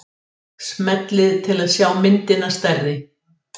Smellið til að sjá myndina stærri.